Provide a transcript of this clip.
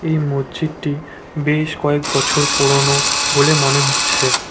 এই মজ্জিদটি বেশ কয়েক বছর পুরোনো বলে মনে হচ্ছে।